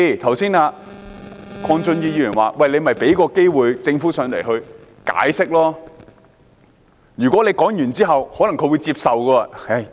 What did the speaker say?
鄺俊宇議員又說，應該給政府機會到來解釋，如果說完之後，他可能會接受。